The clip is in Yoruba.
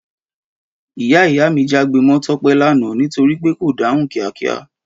Ìyá ìyá mi jágbe mọ Tọ́pẹ́ l'ana nítorípé kò dáhùn kíá kíá